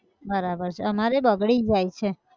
બરાબર છે, અમારેય બગડી જાય છે.